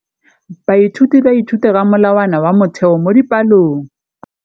Baithuti ba ithuta ka molawana wa motheo mo dipalong.